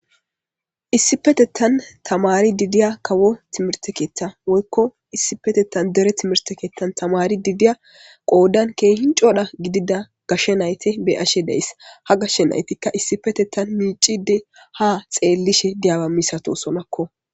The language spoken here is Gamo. issi petettan tamari didiya kawo timirtekeetta woykko issi petettan dere timirtekeettan tamari didiya qoodan keehin codha gidida gashshe nayte beyashe deyss ha gashshe naytikka issi petettan miicide ha xeellishe diyaba misato sonakko